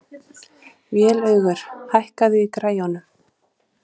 Vélaugur, hækkaðu í græjunum.